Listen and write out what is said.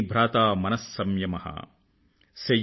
సత్యం సూనురయం దయా చ భగినీ భ్రాతా మన సంయమ